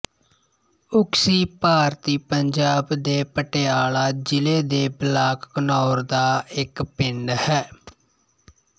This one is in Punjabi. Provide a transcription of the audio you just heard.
ਉਕਸੀ ਭਾਰਤੀ ਪੰਜਾਬ ਦੇ ਪਟਿਆਲਾ ਜ਼ਿਲ੍ਹੇ ਦੇ ਬਲਾਕ ਘਨੌਰ ਦਾ ਇੱਕ ਪਿੰਡ ਹੈ